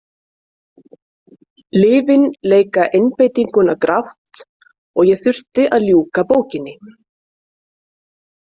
Lyfin leika einbeitinguna grátt og ég þurfti að ljúka bókinni.